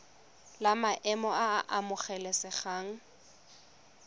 la maemo a a amogelesegang